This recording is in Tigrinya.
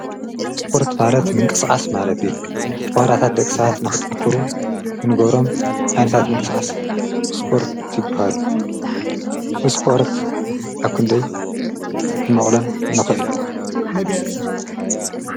ስጶርት ማለት ምንቀስዓስ ማለት ተዋራታት ደቕሳሓት ናኽጥንክሩ እንጐሮም ኣንታት ምንቀጽኣስ እስጶርት ይብሃሉ ብስጶርት ኣኩንደይ ክንመቕሎም ነኸዒል